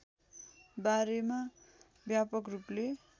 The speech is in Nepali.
बारेमा व्यापक रूपले